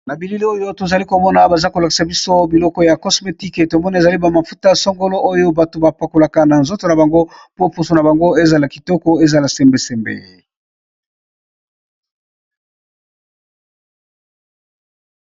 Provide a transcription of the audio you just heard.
Na bilili oyo tozali komona baza kolakisa biso biloko ya cosmetique tomoni ezali ba mafuta songolo oyo bato ba pakolaka na nzoto na bango po poso na bango ezala kitoko ezala sembe sembe